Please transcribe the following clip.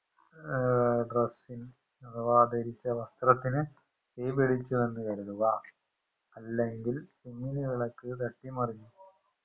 ഏർ dress ന് അഥവാ ധരിച്ച വസ്ത്രത്തിന് തീ പിടിച്ചുവെന്ന് കരുതുക അല്ലെങ്കിൽ ചിമ്മിനിവിളക്ക് തട്ടിമറിഞ്ഞു